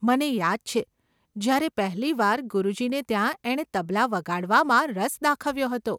મને યાદ છે જયારે પહેલી વાર ગુરુજીને ત્યાં એણે તબલાં વગાડવામાં રસ દાખવ્યો હતો.